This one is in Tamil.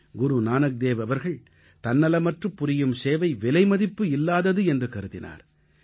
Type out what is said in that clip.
குருநானக்தேவ் அவர்கள் தன்னலமற்றுப் புரியும் சேவை விலைமதிப்பில்லாதது என்று கருதினார்